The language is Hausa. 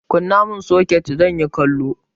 Kunna mun soket!zanyi kallo.